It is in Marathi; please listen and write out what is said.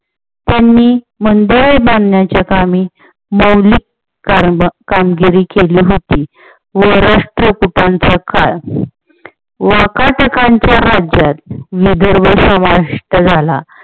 त्यांनी मंदिरे बांधण्याचे कामी कामगिरी केली होती व राष्ट्र पित्यांचा काळ वाकाटकांच्या राज्यात नगर झाला.